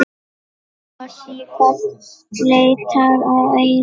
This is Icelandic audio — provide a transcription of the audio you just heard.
Og sífellt leitar að einum.